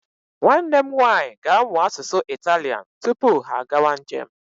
Nwanne m nwaanyị ga-amụ asụsụ Italian tupu ha agawa njem.